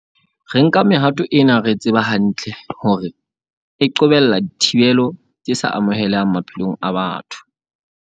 Re nka mehato ena re tseba hantle hore e qobella dithibelo tse sa amohelehang maphelong a batho.